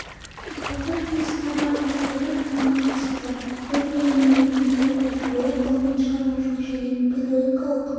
құрылтай жұмысына барлығы делегат пен қонақ қатысуда оның әлемнің елінен келіп отыр олар ғылыми-шығармашылық және педагогикалық